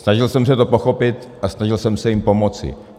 Snažil jsem se to pochopit a snažil jsem se jim pomoci.